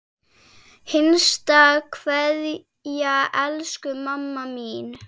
HINSTA KVEÐJA Elsku mamma mín.